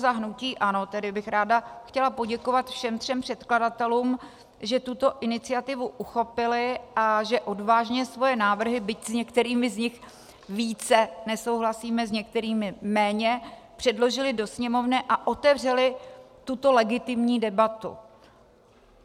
Za hnutí ANO bych tedy ráda chtěla poděkovat všem třem předkladatelům, že tuto iniciativu uchopili a že odvážně svoje návrhy, byť s některými z nich více nesouhlasíme, s některými méně, předložili do Sněmovny a otevřeli tuto legitimní debatu.